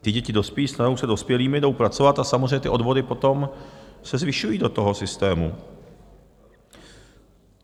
Ty děti dospějí, se stanou dospělými, jdou pracovat a samozřejmě ty odvody potom se zvyšují do toho systému.